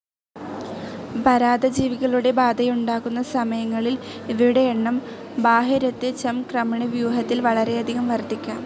പരാദജീവികളുടെ ബാധയുണ്ടാകുന്ന സമയങ്ങളിൽ ഇവയുടെ എണ്ണം ബാഹ്യരക്തചംക്രമണ വ്യൂഹത്തിൽ വളരെയധികം വർധിക്കാം.